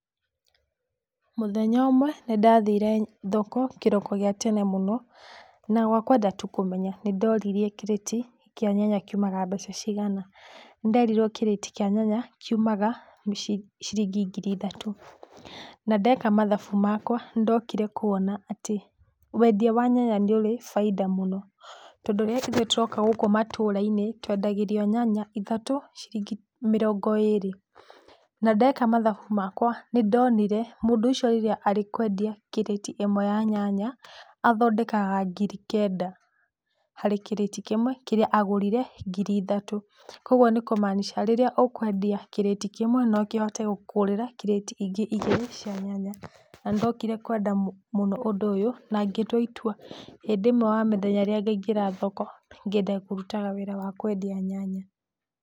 Mũthenya ũmwe nĩndathire thoko kĩroko gĩa tene mũno, na wakwenda tu kũmenya, nĩndoririe kĩrĩti kĩa nyanya kĩumaga mbeca cigana. Nĩnderirwo kĩrĩti kĩa nyanya kĩumaga ciringi ngiri ithatũ. Na ndeka mathabu makwa nĩndokire kwona atĩ wendia wa nyanya nĩ ũrĩ baida mũno, tondũ rĩrĩa ithuĩ tũroka gũkũ matũra-inĩ, twendagĩrio nyanya ithatũ ciringi mĩrongo ĩrĩ. Na ndeka mathabu makwa nĩndonire mũndũ ũcio rĩrĩa arĩ kwendia kĩrĩti ĩmwe ya nyanya athondekaga ngiri kenda harĩ kĩrĩti kĩmwe kĩrĩa agũrire ngiri ithatũ. Kwogwo nĩ kumaanisha rĩrĩa ũkwendia kĩrĩti kĩmwe, no kĩhote gũkũgũrĩra kĩrĩti ingĩ igĩrĩ cia nyanya. Na nĩndokire kwenda mũ, mũno ũndũ ũyũ, na ngĩtua itua hĩndĩ ĩmwe wa mĩthenya rĩrĩa ngaingĩra thoko, ngenda kũrutaga wĩra wa kwendia nyanya.